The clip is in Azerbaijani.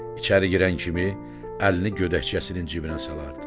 İçəri girən kimi əlini gödəkçəsinin cibinə salardı.